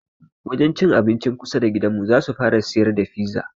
Wajen cin abincin kusa da gidanmu zasu fara siyar da fiza